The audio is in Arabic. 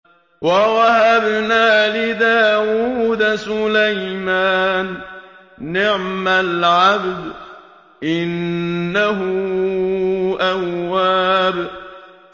وَوَهَبْنَا لِدَاوُودَ سُلَيْمَانَ ۚ نِعْمَ الْعَبْدُ ۖ إِنَّهُ أَوَّابٌ